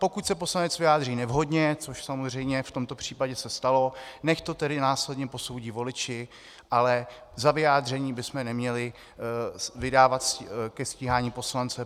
Pokud se poslanec vyjádří nevhodně, což samozřejmě v tomto případě se stalo, nechť to tedy následně posoudí voliči, ale za vyjádření bychom neměli vydávat ke stíhání poslance.